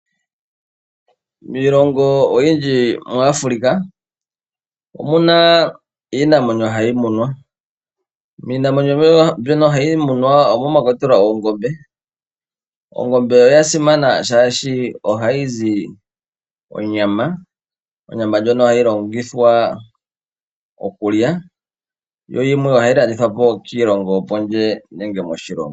Miilongo oyindji muAfrica omuna iinamwenyo hayi munwa, miinamwenyo mbyono ha yi munwa omo mwa kwatelwa ongombe. Ongombe oya simana shaashi ohayi zi onyama, onyama ndjono ha yi longithwa okulya yo yimwe ohayi landithwa po kiilongo yopondje nenge moshilongo.